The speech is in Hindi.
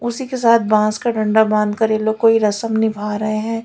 उसी के साथ बांस का डंडा बांधकर ये लोग कोई रस्म निभा रहे हैं।